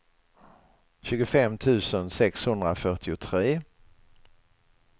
tjugofem tusen sexhundrafyrtiotre